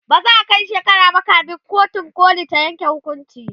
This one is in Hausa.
ba za'a Kai shekara ba kamin kotun koli ta Yanke hukunci